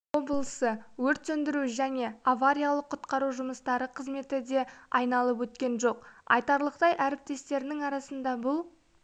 облысы өрт сөндіру және авариялық-құтқару жұмыстары қызметі де айналып өткен жоқ айтарлықтай әріптестерінің арасында бұл